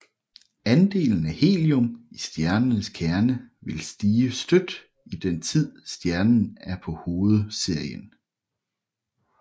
Andelen af helium i stjernens kerne vil stige støt i den tid stjernen er på hovedserien